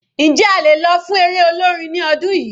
Njẹ́ a lè lọ fún eré olórin ní ọdún yìí?